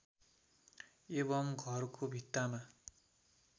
एवम् घरको भित्तामा